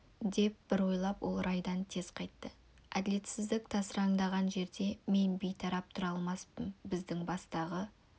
деп бір ойлап ол райдан тез қайтты әділетсіздік тасыраңдаған жерде мен бейтарап тұра алмаспын біздің бастағы